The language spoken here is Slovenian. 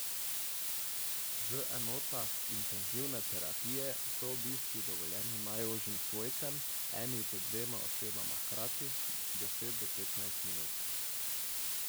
V enotah intenzivne terapije so obiski dovoljeni najožjim svojcem, eni do dvema osebama hkrati deset do petnajst minut.